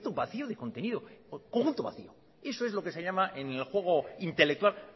vacío de contenido conjunto vacío eso es lo que se llama en el juego intelectual